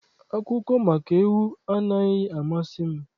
Akụkọ maka ewu anaghị amasị m.